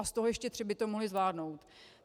A z toho ještě tři by to mohla zvládnout.